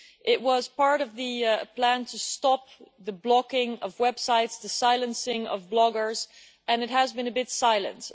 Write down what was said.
It was part of the plan to stop the blocking of websites and the silencing of bloggers, and it has been a bit silent.